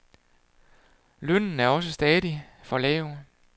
Lønnen er også stadig for lav.